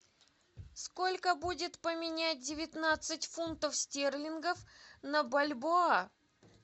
сколько будет поменять девятнадцать фунтов стерлингов на бальбоа